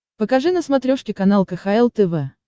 покажи на смотрешке канал кхл тв